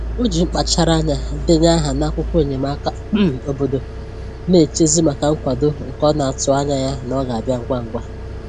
O ji mkpachara anya denye aha n'akwụkwọ enyemaka um obodo, na-echezi maka nkwado nke ọ na-atụ anya na ọ ga-abịa ngwa ngwa